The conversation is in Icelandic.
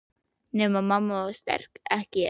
Nema mamma var sterk, ég ekki.